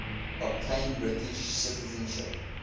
obtain british citizenship